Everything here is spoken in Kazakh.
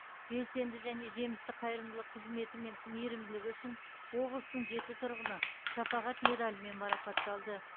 белсенді және жемісті қайырымдылық қызметі мен мейірімділігі үшін облыстың жеті тұрғыны шапағат медалімен марапатталды